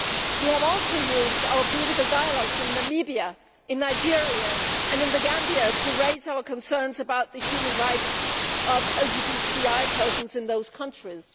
We have also used our political dialogues in Namibia, in Nigeria and in Gambia to raise our concerns about the human rights of LGBTI persons in those countries.